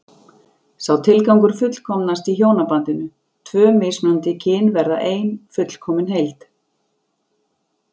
Sá tilgangur fullkomnast í hjónabandinu, tvö mismunandi kyn verða ein fullkomin heild.